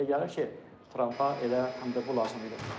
Mənə elə gəlir ki, Trampa elə həm də bu lazım idi.